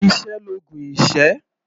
Iṣẹ́ l'oògùn ìṣẹ́.